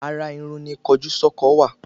Ara Irun ni kojú sọkọ wa